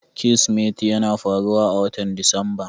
Kirsimeti yana faruwa a watan Disamba.